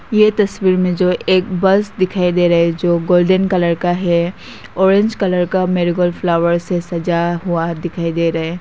ये तस्वीर में जो एक बस दिखाई दे रही है जो गोल्डेन कलर है ऑरेंज कलर का मेरे को फ्लावर से सजा हुआ दिखाई दे रहे हैं।